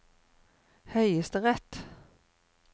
høyesterett